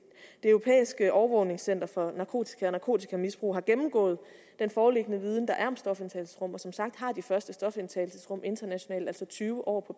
europæiske overvågningscenter for narkotika og narkotikamisbrug har gennemgået den foreliggende viden der er om stofindtagelsesrum og som sagt har de første stofindtagelsesrum internationalt altså tyve år